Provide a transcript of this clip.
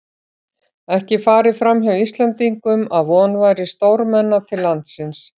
Ekki hafði farið framhjá Íslendingum, að von væri stórmenna til landsins.